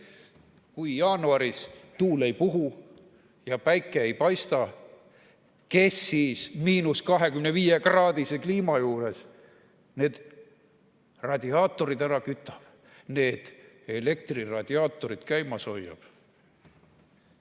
Kui jaanuaris tuul ei puhu ja päike ei paista, kes siis –25-kraadise ilmaga need radiaatorid ära kütab, need elektriradiaatorid käimas hoiab?